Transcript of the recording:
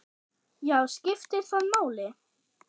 Já, skiptir það máli?